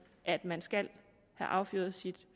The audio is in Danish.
at man skal have affyret sit